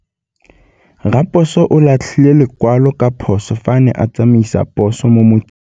Raposo o latlhie lekwalô ka phosô fa a ne a tsamaisa poso mo motseng.